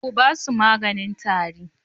Ku ba su maganin tari?